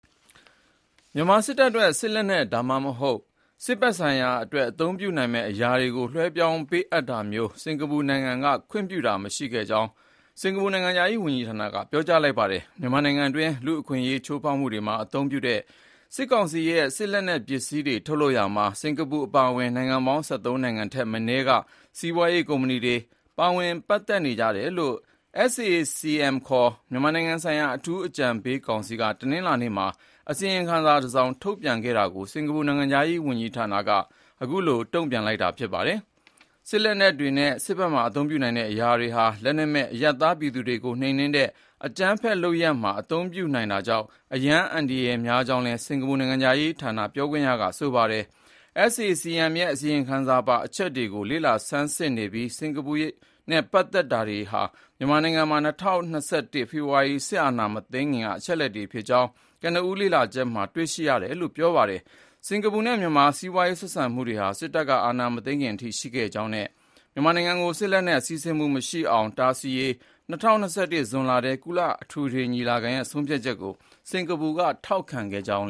မြန်မာစစ်တပ်အတွက်စစ်လက်နက် ဒါမှမဟုတ် စစ်ဘက်ဆိုင်ရာအတွက် အသုံးပြုနိုင်မယ့်အရာတွေကို လွှဲပြောင်းပေးအပ်တာမျိုး စင်္ကာပူနိုင်ငံကခွင့်ပြုတာမရှိကြောင်း စင်္ကာပူနိုင်ငံခြားရေးဝန်ကြီးဌာနက ပြောလိုက်ပါတယ်။ မြန်မာနိုင်ငံတွင်း လူ့အခွင့်အရေးချိုးဖောက်မှုတွေမှာအသုံးပြုတဲ့ စစ်ကောင်စီရဲ့ စစ်လက်နက်ပစ္စည်းတွေ ထုတ်လုပ်ရာမှာ စင်္ကာပူအပါအဝင် နိုင်ငံပေါင်း ၁၃ နိုင်ငံထက်မနည်းက စီးပွားရေးကုမ္ပဏီတွေ ပါဝင်ပတ်သက်နေကြတယ်လို့ SAC-M ခေါ် မြန်မာနိုင်ငံဆိုင်ရာ အထူးအကြံပေးကောင်စီက တနင်္လာနေ့မှာ အစီရင်ခံစာတစောင် ထုတ်ပြန်ခဲ့တာကို စင်္ကာပူ နိုင်ငံခြားရေးဝန်ကြီးဌာနက အခုလို တုံ့ပြန်လိုက်တာ ဖြစ်ပါတယ်။ စစ်လက်နက်တွေနဲ့ စစ်ဖက်မှာအသုံးပြုနိုင်တဲ့အရာတွေဟာ လက်နက်မဲ့အရပ်သားပြည်သူတွေကို နှိမ်နင်းတဲ့ အကြမ်းဖက်လုပ်ရာမှာအသုံးပြုနိုင်တာကြောင့် အရမ်းအန္တရာယ်များကြောင်းလည်း စင်္ကာပူနိုင်ငံခြားရေးဌာနပြောခွင့်ရက ဆိုပါတယ်။ SAC-M ရဲ့အစီရင်ခံစာပါ အချက်အလက်တွေကို လေ့လာဆန်းစစ်နေပြီး၊ စင်္ကာပူနဲ့ ပတ်သက်တာတွေဟာ မြန်မာနိုင်ငံမှာ ၂၀၂၁ ခုနှစ် ဖေဖော်ဝါရီလ စစ်အာဏာမသိမ်းခင်က အချက်အလက်တွေဖြစ်ကြောင်း ကနဦးလေ့လာချက်မှာ တွေ့ရတယ်လို့လာည်း ပြောပါတယ်။ စင်္ကာပူနဲ့ မြန်မာစီးပွားရေးဆက်ဆံမှုတွေဟာ စစ်တပ်ကအာဏာမသိမ်းခင်အချိန်ထိရှိခဲ့ကြောင်း မြန်မာနိုင်ငံထဲကို စစ်လက်နက်စီးဆင်းမှုမရှိအောင်တားဆီးရေး ၂၀၂၁ ဇွန်လထဲ ကုလသမဂ္ဂ အထွေထွေညီလာခဲ့ရဲ့ဆုံးဖြတ်ချက်ကို စင်္ကာပူနိုင်ငံက မဲပေးထောက်ခံခဲ့ကြောင်း